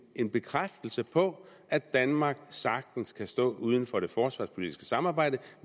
en bekræftelse på at danmark sagtens kan stå uden for det forsvarspolitiske samarbejde og